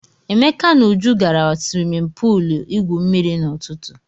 Emeka na Uju gara swimin puul igwu mmiri n'ụtụtụ.